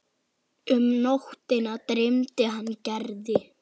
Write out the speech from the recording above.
Um nóttina dreymdi hann Gerði.